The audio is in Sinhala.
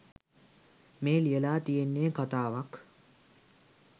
මේ ලියලා තියෙන්නෙ කතාවක්.